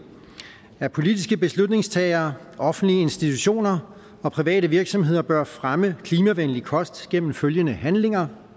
at politiske beslutningstagere offentlige institutioner og private virksomheder bør fremme klimavenlig kost gennem følgende handlinger